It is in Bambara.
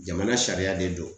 Jamana sariya de do.